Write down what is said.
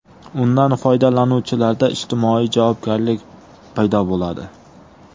Undan foydalanuvchilarda ijtimoiy javobgarlik paydo bo‘ladi.